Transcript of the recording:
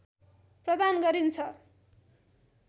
प्रदान गरिन्छ